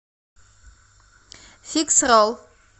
фикс ролл